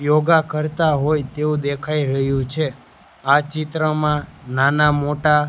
યોગા કરતા હોય તેવું દેખાય રહ્યું છે આ ચિત્રમાં નાના-મોટા --